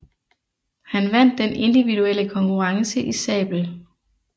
Han vandt den individuelle konkurrence i sabel